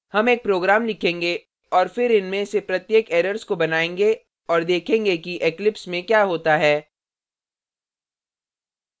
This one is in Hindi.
हम एक program लिखेंगे और फिर इनमें से प्रत्येक errors को बनायेंगे और देखेगें कि eclipse में we होता है